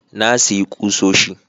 Na sayi kusoshi